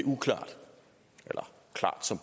så